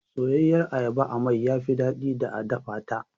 Soyayyiyar ayaba a mai yafi daɗi da a dafata.